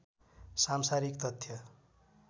सांसारिक तथ्य